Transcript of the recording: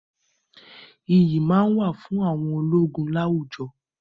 Iyì máá ń wà fún àwọn ológun láwùjọ